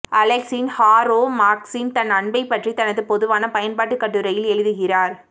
Alexis Harrow மார்க்சின் தன் அன்பைப் பற்றி தனது பொதுவான பயன்பாட்டு கட்டுரையில் எழுதுகிறார்